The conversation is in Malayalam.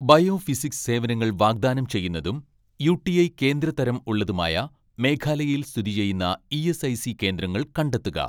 ബയോഫിസിക്സ് സേവനങ്ങൾ വാഗ്‌ദാനം ചെയ്യുന്നതും യു.ടി.ഐ കേന്ദ്ര തരം ഉള്ളതുമായ മേഘാലയയിൽ സ്ഥിതി ചെയ്യുന്ന ഇ.എസ്.ഐ.സി കേന്ദ്രങ്ങൾ കണ്ടെത്തുക.